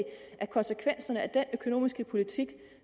at konsekvenserne af den økonomiske politik